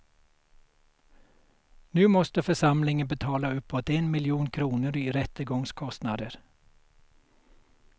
Nu måste församlingen betala uppåt en miljon kronor i rättegångskostnader.